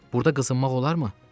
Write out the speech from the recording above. burda qızınmaq olarmı?